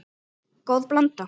Góð blanda.